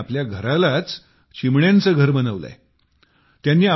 बत्रा यांनी आपल्या घरालाच चिमण्यांचे घर बनवले आहे